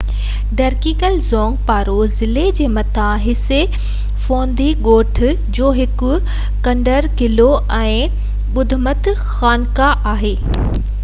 ڊرڪيگل زونگ پارو ضلعي جي مٿانهن حصي فوندي ڳوٺ ۾ جو هڪ کنڊر قلعو ۽ ٻڌمت خانقاه آهي